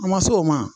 An ma s'o ma